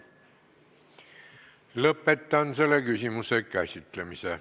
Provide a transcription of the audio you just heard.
Lõpetan selle küsimuse käsitlemise.